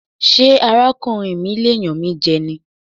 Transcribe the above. Ṣé ara kùnrin mi lè yàn mí jẹ ní?